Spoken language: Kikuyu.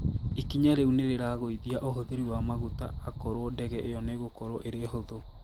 Ikinya rĩu nĩrĩragũithia ũhuthĩri wa magũta akorwo ndege ĩyo nĩgũkorwo ĩrĩ hũthũ